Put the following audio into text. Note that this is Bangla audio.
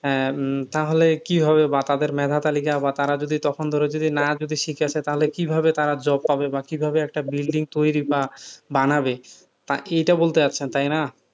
আহ তাহলে কি হবে বা তাদের মেধা তালিকা বা তারা যদি তখন ধরো যে না যদি শিখে থাকে তাহলে কিভাবে তারা job পাবে বা কিভাবে একটা building তৈরি বা বানাবে, এটা বলতে চাইছেন তাই না,